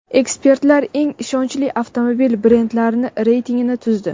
Ekspertlar eng ishonchli avtomobil brendlari reytingini tuzdi.